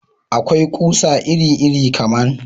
Akwai ƙusa iri iri kaman